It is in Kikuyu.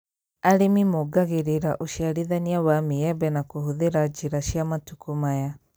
Arĩmi mongagĩrĩra ũciarithania wa maembe na kũhũthĩra njĩra cia matukũ maya